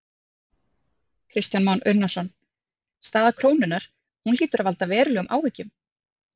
Kristján Már Unnarsson: Staða krónunnar, hún hlýtur að valda verulegum áhyggjum?